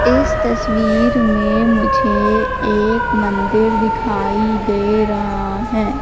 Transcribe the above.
इस तस्वीर में मुझे एक मंदिर दिखाई दे रहा हैं।